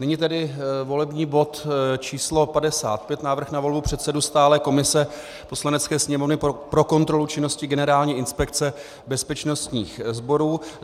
Nyní tedy volební bod číslo 54, Návrh na volbu předsedy stálé komise Poslanecké sněmovny pro kontrolu činnosti Generální inspekce bezpečnostních sborů.